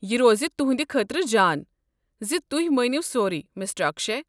یہ روز تہٕنٛدِ خٲطرٕ جان زِ تُہۍ مٲنِو سورُے، مِسٹر اكشے۔